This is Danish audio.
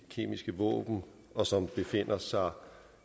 kemiske våben og som befinder sig